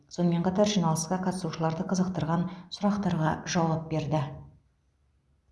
сонымен қатар жиналысқа қатысушыларды қызықтырған сұрақтарға жауап берді